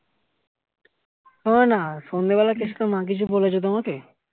শোনো না সন্ধ্যে বেলায় কেষ্টর মা কিছু বলেছে তোমাকে